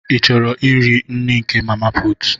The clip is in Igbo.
Ị chọrọ iri nri na nke mama pụtụ?